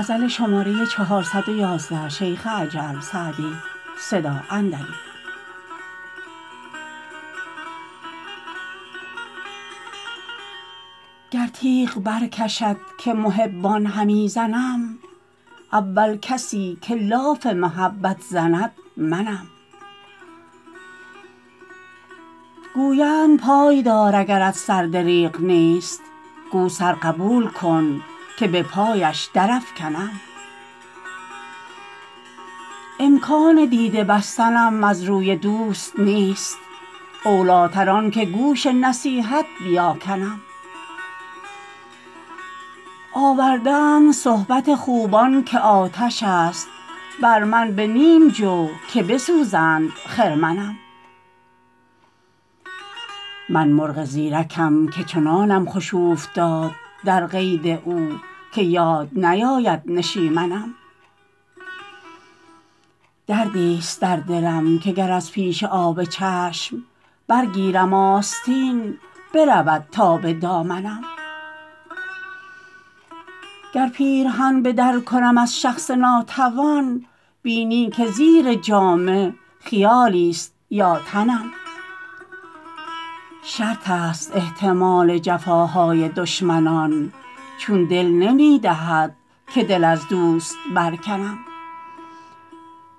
گر تیغ برکشد که محبان همی زنم اول کسی که لاف محبت زند منم گویند پای دار اگرت سر دریغ نیست گو سر قبول کن که به پایش درافکنم امکان دیده بستنم از روی دوست نیست اولیتر آن که گوش نصیحت بیاکنم آورده اند صحبت خوبان که آتش است بر من به نیم جو که بسوزند خرمنم من مرغ زیرکم که چنانم خوش اوفتاد در قید او که یاد نیاید نشیمنم دردیست در دلم که گر از پیش آب چشم برگیرم آستین برود تا به دامنم گر پیرهن به در کنم از شخص ناتوان بینی که زیر جامه خیالیست یا تنم شرط است احتمال جفاهای دشمنان چون دل نمی دهد که دل از دوست برکنم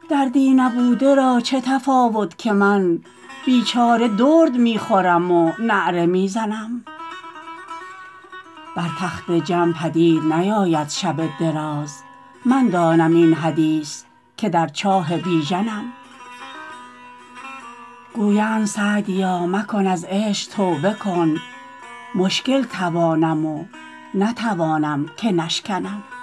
دردی نبوده را چه تفاوت کند که من بیچاره درد می خورم و نعره می زنم بر تخت جم پدید نیاید شب دراز من دانم این حدیث که در چاه بیژنم گویند سعدیا مکن از عشق توبه کن مشکل توانم و نتوانم که نشکنم